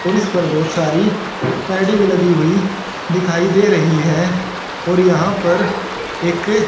और इसपर बहोत सारी पैडी लगी हुई दिखाई दे रही है और यहां पर एक--